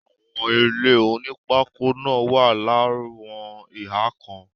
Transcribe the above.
Àwọn ilé onípákó náà wà láwọn ihà kan.